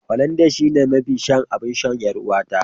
Hollandia shine mafi son abinshan yar'uwata.